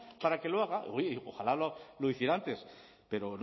para que lo haga oye ojalá lo hiciera antes pero